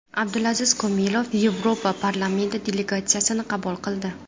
Abdulaziz Komilov Yevropa parlamenti delegatsiyasini qabul qildi.